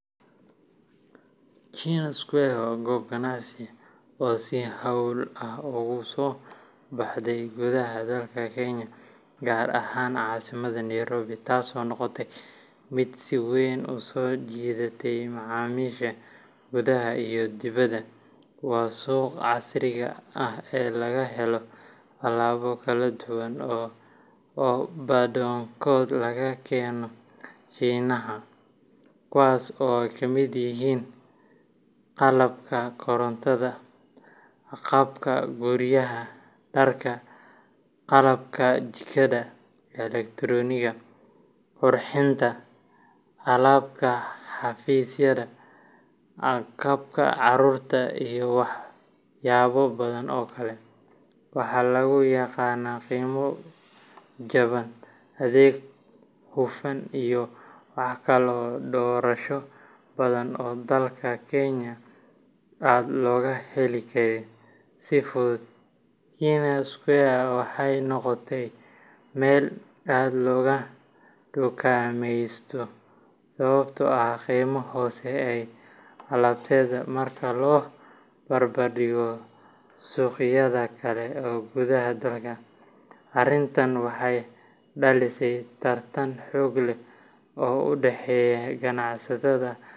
China Square waa goob ganacsi oo si xawli ah ugu soo baxday gudaha dalka Kenya, gaar ahaan caasimadda Nairobi, taasoo noqotay mid si weyn u soo jiidatay macaamiisha gudaha iyo dibadda. Waa suuqa casriga ah ee laga helo alaabo kala duwan oo badankood laga keeno Shiinaha, kuwaas oo ay kamid yihiin qalabka korontada, agabka guryaha, dharka, qalabka jikada, elektaroonigga, qurxinta, qalabka xafiisyada, agabka carruurta, iyo waxyaabo badan oo kale. Waxaa lagu yaqaanaa qiimo jaban, adeeg hufan, iyo wax kala doorasho badan oo dalkan Kenya aad looga heli karin si fudud. China Square waxay noqotay meel aad looga dukaameysto sababtoo ah qiimaha hoose ee alaabteeda marka loo barbardhigo suuqyada kale ee gudaha dalka. Arrintan waxay dhalisay tartan xoog leh oo u dhexeeya ganacsatada.